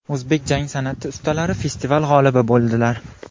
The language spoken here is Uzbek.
O‘zbek jang san’ati ustalari festival g‘olibi bo‘ldilar.